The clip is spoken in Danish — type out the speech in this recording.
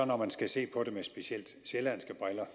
når man skal se på det med specielt sjællandske briller